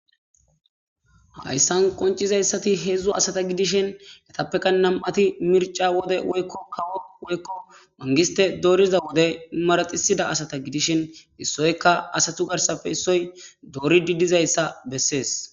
Hayisan qonicisezaysati hezu asata gidishin eyapeka na'ati MIRI a wode woyiko manigisete doriza wode maraxisida asata gidishin issoyka asatu garisape issoy doridi dizaysa beses